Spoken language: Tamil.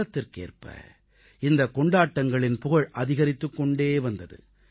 காலத்திற்கேற்ப இந்தக் கொண்டாட்டங்களின் புகழ் அதிகரித்துக் கொண்டே வந்தது